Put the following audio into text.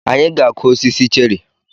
Anyị ga-akụ osisi cherị.